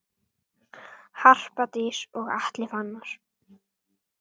Harpa Dís og Atli Fannar.